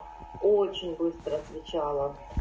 очень быстро отвечала